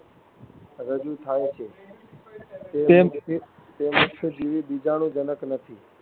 રજૂ થાય છે. તે મુક્તજીવી બીજાણુજનક નથી.